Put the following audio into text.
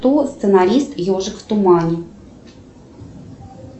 кто сценарист ежик в тумане